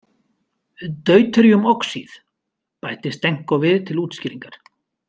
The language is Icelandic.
Deuteríum oxíð, bætti Stenko við til útskýringar.